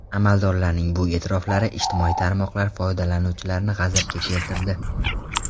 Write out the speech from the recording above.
Amaldorlarning bu e’tiroflari ijtimoiy tarmoqlar foydalanuvchilarini g‘azabga keltirdi.